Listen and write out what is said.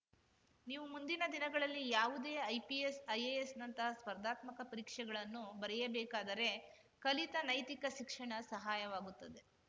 ನೀವು ಮುಂದಿನ ದಿನಗಳಲ್ಲಿ ಯಾವುದೇ ಐಪಿಎಸ್‌ ಐಎಎಸ್‌ನಂತಹ ಸ್ಪರ್ಧಾತ್ಮಕ ಪರೀಕ್ಷೆಗಳನ್ನು ಬರೆಯಬೇಕಾದರೆ ಕಲಿತ ನೈತಿಕ ಶಿಕ್ಷಣ ಸಹಾಯವಾಗುತ್ತದೆ